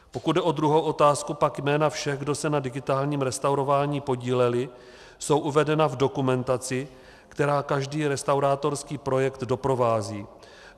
Pokud jde o druhou otázku, pak jména všech, kdo se na digitálním restaurování podíleli, jsou uvedena v dokumentaci, která každý restaurátorský projekt doprovází.